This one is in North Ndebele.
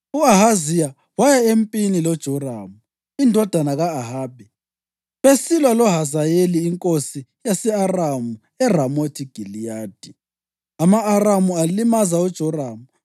U-Ahaziya waya empini loJoramu indodana ka-Ahabi besilwa loHazayeli inkosi yase-Aramu eRamothi Giliyadi. Ama-Aramu alimaza uJoramu,